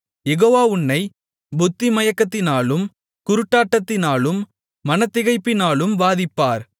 யெகோவா உன்னைப் புத்திமயக்கத்தினாலும் குருட்டாட்டத்தினாலும் மனத்திகைப்பினாலும் வாதிப்பார்